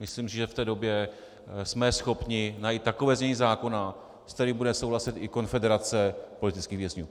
Myslím si, že v té době jsme schopni najít takové znění zákona, s kterým bude souhlasit i Konfederace politických vězňů.